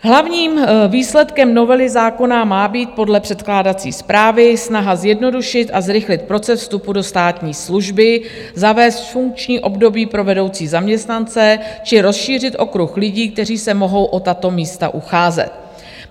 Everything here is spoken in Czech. Hlavním výsledkem novely zákona má být podle předkládací zprávy snaha zjednodušit a zrychlit proces vstupu do státní služby, zavést funkční období pro vedoucí zaměstnance či rozšířit okruh lidí, kteří se mohou o tato místa ucházet.